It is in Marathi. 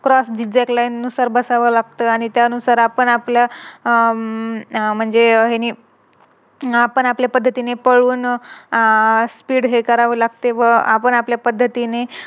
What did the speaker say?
नुसार बसावं लागत आणि त्यानुसार आपण आपल्या आह म्हणजे आपण आपल्या पद्धतीने पळून अह Speed हे करावं लागते व आपण आपल्या पद्धतीने